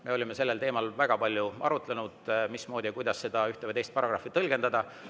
Me olime sellel teemal väga palju arutlenud, mismoodi ühte või teist paragrahvi tõlgendada.